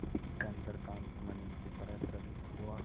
चंद्रकांत मणि ही तरह द्रवित हुआ